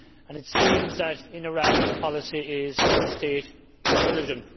It seems that in Iran the policy is one state, one religion.